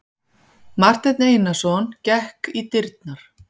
Marteinn Einarsson gekk í dyrnar.